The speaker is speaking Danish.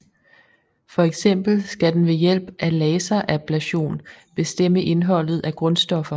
For eksempel skal den ved hjælp af laserablation bestemme indholdet af grundstoffer